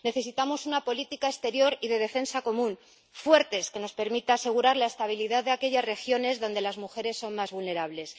Necesitamos una política exterior y de defensa común fuerte, que nos permita asegurar la estabilidad de aquellas regiones donde las mujeres son más vulnerables.